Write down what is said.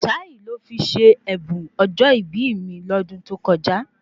Táì ni ó fi ṣe ẹ̀bùn ọjọ́ ìbí mi lọ́dún tó kọjá